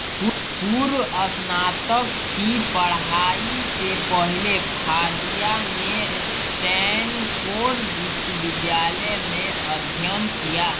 पूर्व स्नातक की पढ़ाई से पहले फ़ादिया ने स्टैनफोर्ड विश्वविद्यालय में अध्ययन किया